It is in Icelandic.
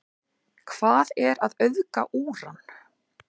Hvað er að auðga úran?